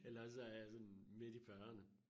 Eller også så er jeg sådan midt i fyrrene